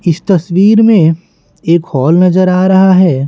इस तस्वीर में एक हॉल नजर आ रहा है।